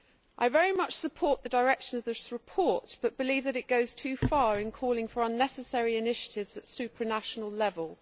I very much support the direction of this report but believe that it goes too far in calling for unnecessary initiatives at supranational level.